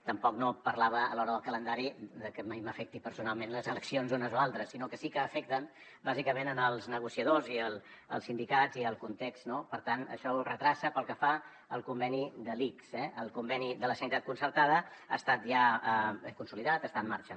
tampoc no parlava a l’hora del calendari de que mai m’afecti personalment les eleccions unes o altres sinó que sí que afecten bàsicament els negociadors i els sindicats i el context no per tant això ho retarda pel que fa al conveni de l’ics eh el conveni de la sanitat concertada ha estat ja consolidat està en marxa